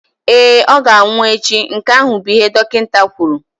Ee, ọ ga-anwụ echi, nke ahụ bụ ihe dọkịta kwuru.